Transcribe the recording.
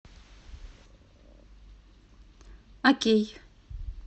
окей